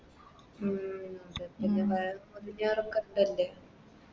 ഉം